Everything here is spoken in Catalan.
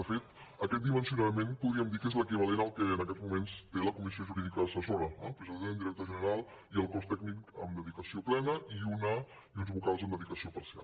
de fet aquest dimensionament podríem dir que és l’equivalent al que en aquests moments té la comissió jurídica assessora eh president director general i el cos tècnic amb dedicació plena i uns vocals amb dedi·cació parcial